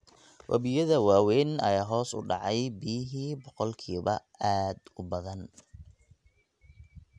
Wabiyada waaweyn ayaa hoos u dhacay biyihii boqolkiiba aad u badan.